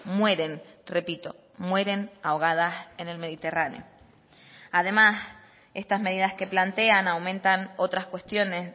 mueren repito mueren ahogadas en el mediterráneo además estas medidas que plantean aumentan otras cuestiones